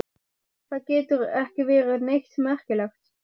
Það getur ekki verið neitt merkilegt.